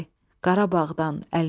Qarabağdan əlini çək.